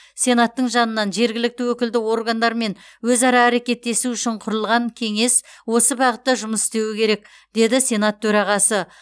сенаттың жанынан жергілікті өкілді органдармен өзара әрекеттесу үшін құрылған кеңес осы бағытта жұмыс істеуі керек деді сенат төрағасы